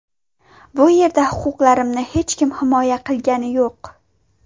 Bu yerda huquqlarimni hech kim himoya qilgani yo‘q.